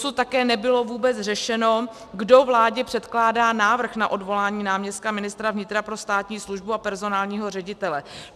Dosud také nebylo vůbec řešeno, kdo vládě předkládá návrh na odvolání náměstka ministra vnitra pro státní službu a personálního ředitele.